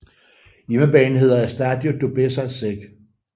Hjemmebanen hedder Estádio do Bessa Séc